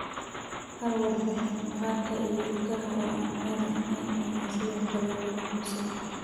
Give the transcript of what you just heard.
Hal warbixin, maqaarka iyo ilkaha oo aan caadi ahayn ayaa sidoo kale lagu xusay.